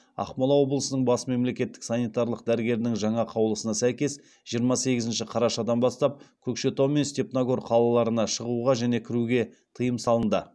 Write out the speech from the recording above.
ақмола облысының бас мемлекеттік санитарлық дәрігерінің жаңа қаулысына сәйкес жиырма сегізінші қарашадан бастап көкшетау мен степногор қалаларына шығуға және кіруге тыйым салынды